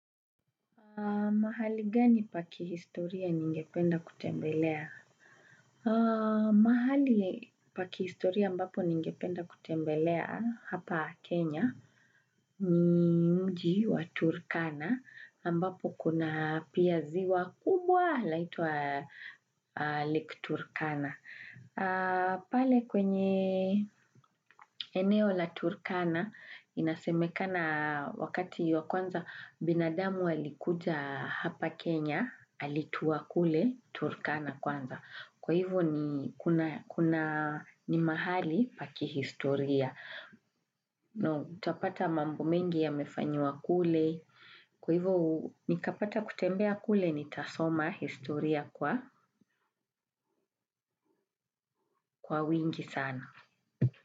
Mahali gani pa kihistoria ningependa kutembelea? Mahali pa kihistoria ambapo ningependa kutembelea hapa Kenya ni mji wa Turkana ambapo kuna pia ziwa kubwa laitwa Lake Turkana. Pale kwenye eneo la Turkana inasemekana wakati ya kwanza binadamu alikuja hapa Kenya alitua kule Turkana kwanza. Kwa hivo ni kuna ni mahali pa kihistoria. Na utapata mambo mengi yamefanyiwa kule kwa hivo nikapata kutembea kule nitasoma historia kwa kwa wingi sana.